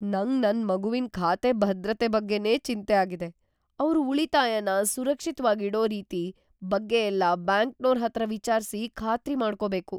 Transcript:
ನಂಗ್ ನನ್ ಮಗುವಿನ್ ಖಾತೆ ಭದ್ರತೆ ಬಗ್ಗೆನೇ ಚಿಂತೆ ಆಗಿದೆ, ಅವ್ರು ಉಳಿತಾಯನ ಸುರಕ್ಷಿತ್ವಾಗಿಡೋ ರೀತಿ ಬಗ್ಗೆಯೆಲ್ಲ ಬ್ಯಾಂಕ್ನೋರ್‌ ಹತ್ರ ವಿಚಾರ್ಸಿ ಖಾತ್ರಿ ಮಾಡ್ಕೊಬೇಕು.